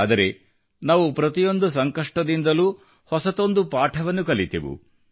ಆದರೆ ನಾವು ಪ್ರತಿಯೊಂದು ಸಂಕಷ್ಟದಿಂದಲೂ ಹೊಸತೊಂದು ಪಾಠವನ್ನು ಕಲಿತೆವು